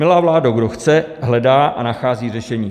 Milá vládo, kdo chce, hledá a nachází řešení.